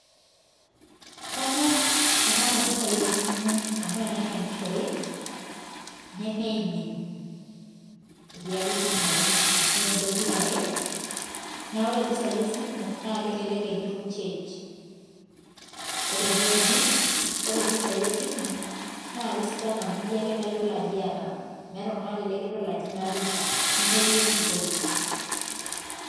kanyoor tenaata mpisai te simu amu tenanyagishore ne mimin, naakeata mpisai esimu change koree ene uni naa kesidai amu iyie ake nayiolo ajo inapita nee meeti empurore.